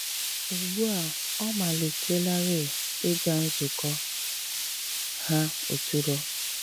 Ùgbu a ọ̀ malìtèlárì ịgà nzùkọ ha òtùrò.